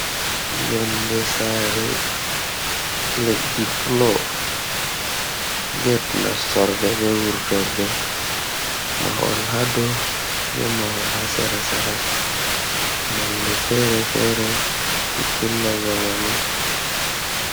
Yonde sare leddi flo, get nastorde be wurtorde, mahol hadau be mahol ha sera- sera, nonde fere-fere pittilla jamanu.